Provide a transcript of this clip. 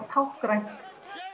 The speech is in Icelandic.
táknrænt